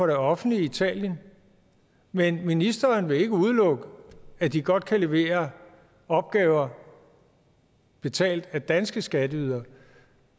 det offentlige italien men ministeren vil ikke udelukke at de godt kan levere opgaver betalt af danske skatteydere